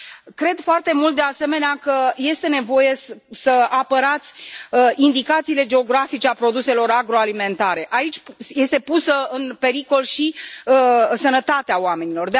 Cred foarte mult, de asemenea, că este nevoie să apărați indicațiile geografice ale produselor agroalimentare aici este pusă în pericol și sănătatea oamenilor.